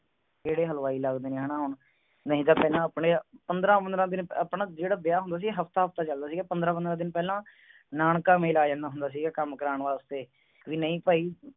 ਕਿਹੜੇ ਹਲ੍ਵੇਈ ਲਾਗ ਦੇ ਨੇ ਹੈ ਨਾ ਹੋਣ ਨਹੀਂ ਤਾਂ ਪਹਲਾ ਅਪਨੇ ਪੰਦਰਾ ਪੰਦਰਾ ਦਿਨ ਆਪਣਾ ਜਿਹੜਾ ਵਿਆਹ ਹੁੰਦਾ ਸੀ ਹਫਤਾ ਹਫਤਾ ਚਲ ਦਾ ਸੀ ਗਾ ਪੰਦਰਾ ਪੰਦਰਾ ਦਿਨ ਪਹਲਾ ਨਾਨਕਾ ਮਾਲੇ ਆ ਜਾਂਦਾ ਹੁੰਦਾ ਸੀ ਗਾ ਕਮ ਕਰਾਨ ਵਸਤੇ ਵੀ ਨਾਈ ਭਾਈ